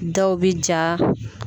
Dɔw bɛ ja